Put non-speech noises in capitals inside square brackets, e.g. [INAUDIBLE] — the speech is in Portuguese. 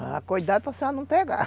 Ah, cuidado para senhora não pegar. [LAUGHS]